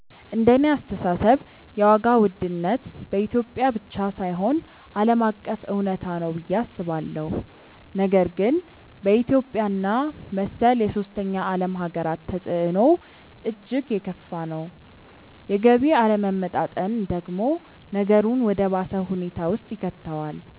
እንደኔ አስተሳሰብ የዋጋ ውድነት በኢትዮጵያ ብቻ ሳይሆን ዓለም አቀፍ እውነታ ነው ብዬ አስባለሁ፤ ነገር ግን በኢትዮጵያ እና መሰል የሶስተኛ ዓለም ሃገራት ተፅዕኖው እጅግ የከፋ ነው። የገቢ አለመመጣጠን ደግሞ ነገሩን ወደ ባሰ ሁኔታ ውስጥ ይከተዋል።